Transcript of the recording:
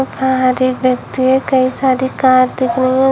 बाहर एक व्यक्ति है कई सारी कार दिख रही है।